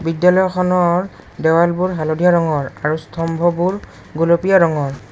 বিদ্যালয়খনৰ দেৱালবোৰ হালধীয়া ৰঙৰ আৰু স্তম্ভবোৰ গুলপীয়া ৰঙৰ।